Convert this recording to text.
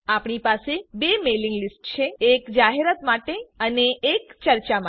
આપણી પાસે બે મેઇલિંગ લીસ્ટ છે એક જાહેરાત માટે અને એક ચર્ચા માટે